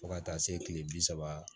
Fo ka taa se kile bi saba